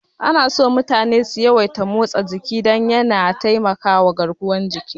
Anaso mutane su yawaita motsa jiki don yana taimakama garkuwar jiki.